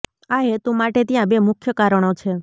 આ હેતુ માટે ત્યાં બે મુખ્ય કારણો છે